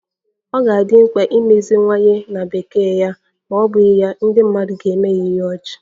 Ọ ga-adị mkpa imeziwanye na Bekee ya ma ọ bụghị ya, ndị mmadụ ga-eme ya ihe ọchị